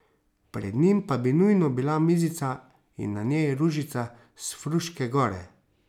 Pred njim pa bi nujno bila mizica in na njej ružica s Fruške gore.